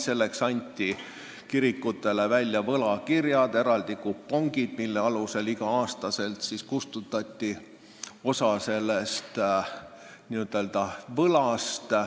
Selleks anti kirikutele välja võlakirjad, eraldi kupongid, mille alusel igal aastal kustutati osa sellest n-ö võlast.